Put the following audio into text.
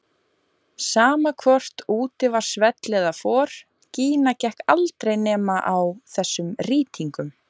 Sama hvort úti var svell eða for, Gína gekk aldrei nema á þessum rýtingum.